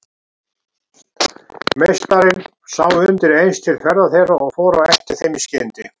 Meistarinn sá undir eins til ferða þeirra og fór á eftir þeim í skyndi.